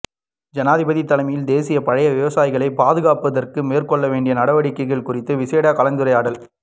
ஜனாதிபதி தலைமையில் தேசிய பழ விவசாயிகளை பாதுகாப்பதற்கு மேற்கொள்ள வேண்டிய நடவடிக்கைகள் குறித்த விசேட கலந்துரையாடல்